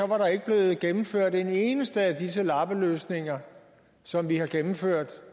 var der ikke blevet gennemført en eneste af disse lappeløsninger som vi har gennemført